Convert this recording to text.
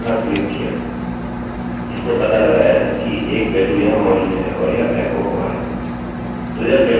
तो यह get variable की समाप्ति है